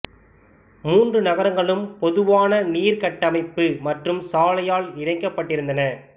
மூன்று நகரங்களும் பொதுவான நீர் கட்டமைப்பு மற்றும் சாலையால் இணைக்கப்பட்டிருந்தன